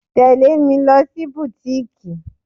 Tẹle mi lọ sí butiiki.